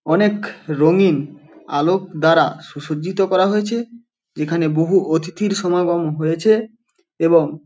অনেক-খ রঙিন আলোক দ্বারা সুসজ্জিত করা হয়েছে এখানে বহু অতিথির সমাগম হয়েছে এবং --